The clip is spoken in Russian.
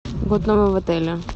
в отеле